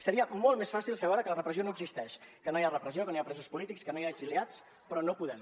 seria molt més fàcil fer veure que la repressió no existeix que no hi ha repressió que no hi ha presos polítics que no hi ha exiliats però no podem